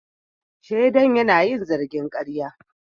Shaidan yana yin zargin karya.